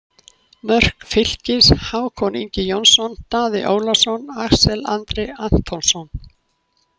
Mörk Fylkis: Hákon Ingi Jónsson, Daði Ólafsson, Axel Andri Antonsson